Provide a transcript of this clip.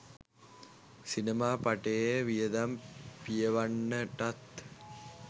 සිනමා පටයේ වියදම පියවන්නටත්